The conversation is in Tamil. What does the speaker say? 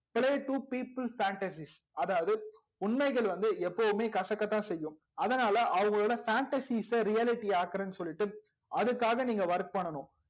play two people fantasies அதாவது உண்மைகள் வந்து எப்போதும் கசகதா செய்யும் அதனால அவங்களோட fantasis ச reality ஆக்ரனு சொல்லிட்டு அதுக்காக work பண்ணனும்